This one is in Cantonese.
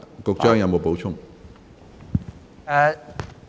局長，你有否補充？